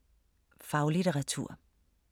Faglitteratur